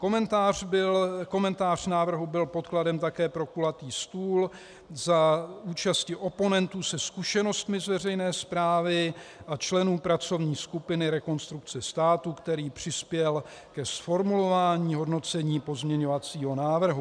Komentář návrhu byl podkladem také pro kulatý stůl za účasti oponentů se zkušenostmi z veřejné správy a členů pracovní skupiny Rekonstrukce státu, který přispěl ke zformulování hodnocení pozměňovacího návrhu.